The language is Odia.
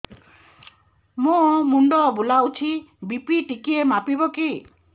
ମୋ ମୁଣ୍ଡ ବୁଲାଉଛି ବି.ପି ଟିକିଏ ମାପିବ କି